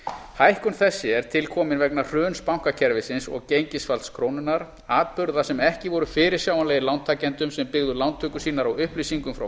hækkun þessi er til komin vegna hruns bankakerfisins og gengisfalls krónunnar atburða sem ekki voru fyrirsjáanlegir lántakendum sem byggðu lántökur sínar á upplýsingum frá